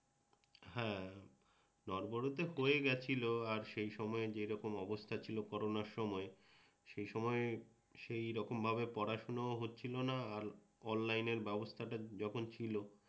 হ্যাঁ, নড়বড়ে তো হয়ে গেছিল আর সেসময় যেরকম অবস্থা ছিল করোনার সময়ে সেসময় সেই রকম ভাবে পড়াশুনাও হচ্ছিলনা আর অনলাইনের ব্যবস্থাটা যখন ছিল